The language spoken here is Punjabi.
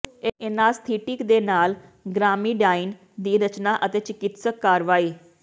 ਐਨਾਸਥੀਿਟਕ ਦੇ ਨਾਲ ਗ੍ਰਾਮਮੀਡਾਈਨ ਦੀ ਰਚਨਾ ਅਤੇ ਚਿਕਿਤਸਕ ਕਾਰਵਾਈ